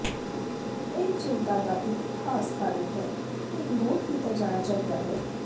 ਇਹ ਚਿੰਤਾ ਦਾ ਇੱਕ ਖਾਸ ਕਾਰਨ ਹੈ ਕਿ ਨੋਟ ਕੀਤਾ ਜਾਣਾ ਚਾਹੀਦਾ ਹੈ